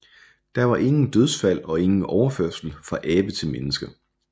Der var ingen dødsfald og ingen overførsel fra abe til menneske